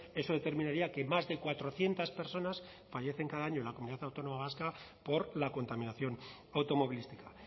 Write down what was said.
eso determinaría que más de cuatrocientos personas fallecen cada año en la comunidad autónoma vasca por la contaminación automovilística